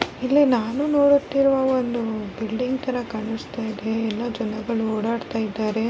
ಇಲ್ಲಿ ನೋಡುತ್ತಿರುವ ಒಂದು ಬಿಲ್ಡಿಂಗ್ ತರ ಕಾಣಿಸ್ತಾ ಇದೆ ಎಲ್ಲ ಜನಗಳು ಓಡಾಟ್ತ ಇದ್ದಾರೆ.